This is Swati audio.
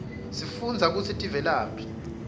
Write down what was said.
sifundza kutsi tivelaphi